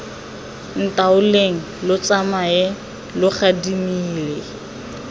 ntaoleng lo tsamae lo gadimile